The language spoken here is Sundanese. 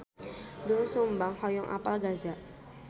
Doel Sumbang hoyong apal Gaza